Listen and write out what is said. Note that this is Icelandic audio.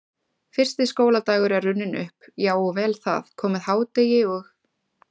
Fyrsti skóladagur er runninn upp, já og vel það, komið hádegi og